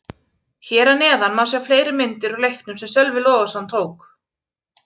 Hér að neðan má sjá fleiri myndir úr leiknum sem Sölvi Logason tók.